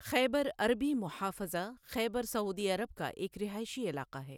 خیبر عربی محافظة خيبر سعودی عرب کا ایک رہائشی علاقہ ہے۔